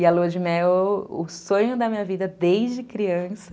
E a lua de mel é o sonho da minha vida desde criança.